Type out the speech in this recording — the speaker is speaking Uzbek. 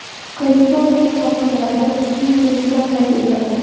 Kaliforniya sohillarida kuchli zilzila qayd etildi.